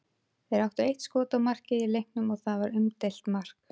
Þeir áttu eitt skot á markið í leiknum og það var umdeilt mark.